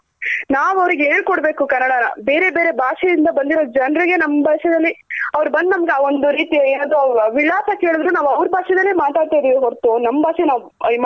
ನಾವ್ ಅವ್ರಗ್ ಹೇಳ್ಕೊಡ್ಬೇಕು ಕನ್ನಡನ ಬೇರೆ ಬೇರೆ ಭಾಷೆ ಯಿಂದ ಬಂದಿರೋ ಜನ್ರಗೆ ನಮ್ ಭಾಷೇನಲ್ಲಿ ಅವ್ರ್ ಬಂದ್ ನಮ್ಗ್ ಆ ಒಂದ್ ರೀತಿಯ ಯಾವ್ದ್ ವಿಳಾಸ ಕೆಳುದ್ರು ನಾವ್ ಅವ್ರ್ ಭಾಷೆಲೇನೆ ಮಾತಾಡ್ತಾ ಇದಿವಿ ಹೊರತು ನಮ್ ಭಾಷೆ ನಾವ್